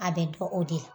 A bɛ dɔn o de la